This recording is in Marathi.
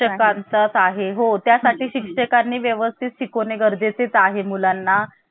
राज्यघटनेमध्ये संघराज्य असा उल्लेख आपल्याला कुठेही आढळत नाही. उल्लेख का आढळतो राज्याचा संघ असा आढळतो. भारताचा उल्लेख कसा आढळतो राज्यांचा संघ